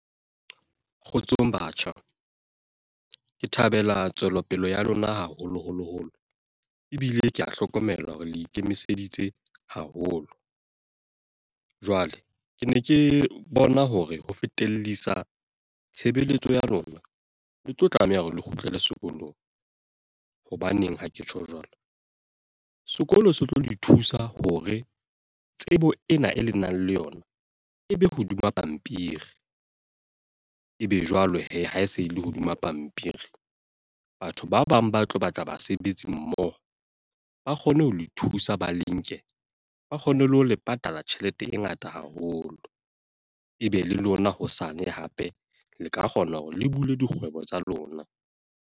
Kgotsong batjha. Ke thabela tswelopele ya lona haholo holo holo. Ebile ke a hlokomela hore le ikemiseditse haholo. Jwale ke ne ke bona hore ho fetellisa tshebeletso ya lona, le tlo tlameha hore le kgutlele sekolong. Hobaneng ha ke tjho jwalo. Sekolo se tlo le thusa hore tsebo ena e lenang le yona, e be hodima pampiri. E be jwale he ha e se e le hodima pampiri, batho ba bang ba tlo batla basebetsi mmoho, ba kgone ho lo ithusa ba le nke. Ba kgone le ho le patala tjhelete e ngata haholo. Ebe le lona hosane hape le ka kgona hore le bule dikgwebo tsa lona.